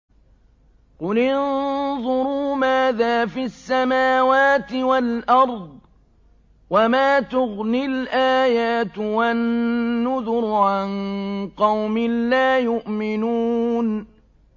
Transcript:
قُلِ انظُرُوا مَاذَا فِي السَّمَاوَاتِ وَالْأَرْضِ ۚ وَمَا تُغْنِي الْآيَاتُ وَالنُّذُرُ عَن قَوْمٍ لَّا يُؤْمِنُونَ